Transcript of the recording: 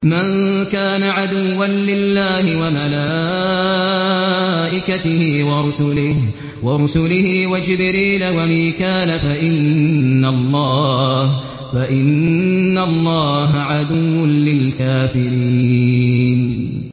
مَن كَانَ عَدُوًّا لِّلَّهِ وَمَلَائِكَتِهِ وَرُسُلِهِ وَجِبْرِيلَ وَمِيكَالَ فَإِنَّ اللَّهَ عَدُوٌّ لِّلْكَافِرِينَ